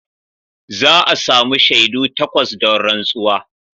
Za a sami shaidu takwas don rantsuwa.